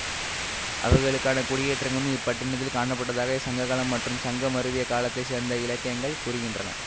அவர்களுக்கான குடியேற்றங்களும் இப் பட்டினத்தில் காணப்பட்டதாகச் சங்க காலம் மற்றும் சங்கம் மருவிய காலத்தை சேர்ந்த இலக்கியங்கள் கூறுகின்றன